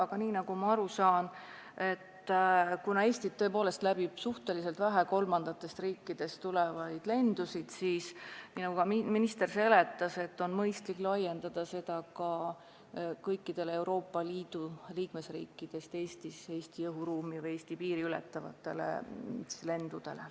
Aga nagu ma aru saan ja nagu ka minister seletas, siis Eestit läbib tõepoolest suhteliselt vähe kolmandatest riikidest tulevaid lendusid ja on mõistlik laiendada seda direktiivi ka kõikidele Euroopa Liidu liikmesriikidest Eestisse tulevatele ja Eesti piiri ületavatele lendudele.